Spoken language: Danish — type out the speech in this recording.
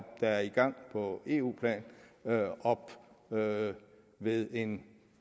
er i gang på eu plan op ved en